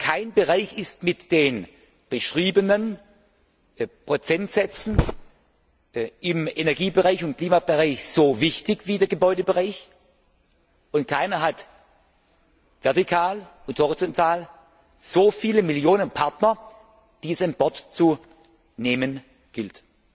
Kein Bereich ist mit den beschriebenen Prozentsätzen im Energie und Klimabereich so wichtig wie der Gebäudebereich, und keiner hat vertikal und horizontal so viele Millionen Partner, die es an Bord zu nehmen gilt.